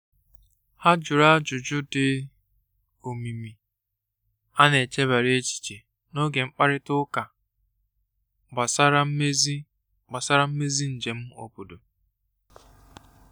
Ha jụrụ ajụjụ dị omimi a n'echebara echiche n’oge mkparịta ụka gbasara mmezi gbasara mmezi njem obodo.